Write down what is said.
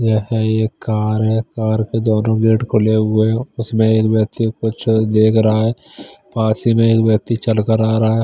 यह एक कार है कार दोनों गेट खुले हुए है उसमें एक व्यक्ति को कुछ देख रहा है पास ही में एक व्यक्ति चलकर आ रहा है।